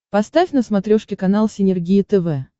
поставь на смотрешке канал синергия тв